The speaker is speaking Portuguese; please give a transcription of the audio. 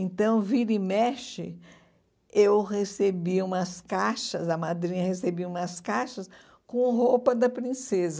Então, vira e mexe, eu recebia umas caixas, a madrinha recebia umas caixas com roupa da princesa.